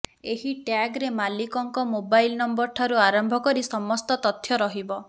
ଏହି ଟ୍ୟାଗରେ ମାଲିକଙ୍କ ମୋବାଇଲ ନମ୍ବରଠାରୁ ଆରମ୍ଭ କରି ସମସ୍ତ ତଥ୍ୟ ରହିବ